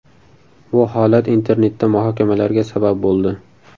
Bu holat internetda muhokamalarga sabab bo‘ldi.